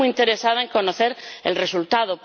Yo estoy muy interesada en conocer el resultado.